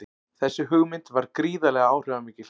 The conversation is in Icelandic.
Þessi hugmynd varð gríðarlega áhrifamikil.